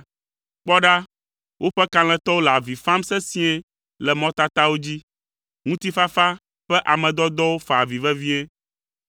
Kpɔ ɖa woƒe kalẽtɔwo le avi fam sesĩe le mɔtatawo dzi. Ŋutifafa ƒe ame dɔdɔwo fa avi vevie.